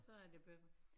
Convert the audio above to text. Så er det begyndt